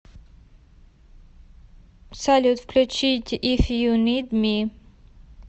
салют включить иф ю нид ми